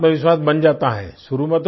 उनका आत्मविश्वास बन जाता है